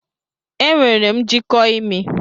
Enwere m njiko imi.